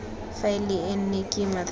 faele e nne kima thata